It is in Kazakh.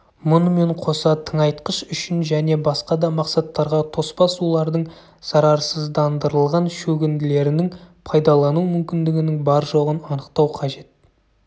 мұнымен қоса тыңайтқыш үшін және басқа да мақсаттарға тоспа сулардың зарарсыздандырылған шөгінділерінің пайдаланылу мүмкіндігінің бар-жоғын анықтау қажет